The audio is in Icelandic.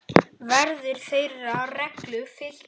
Verður þeirri reglu fylgt hér.